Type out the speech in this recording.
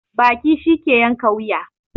Baki shi ke yanka wuya